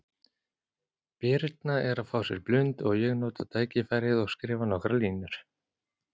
Birna er að fá sér blund og ég nota tækifærið og skrifa nokkrar línur.